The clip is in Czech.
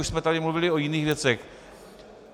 Už jsme tady mluvili o jiných věcech.